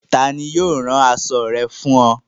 Tani yio rán aṣọ̣ rẹ̀ fún o?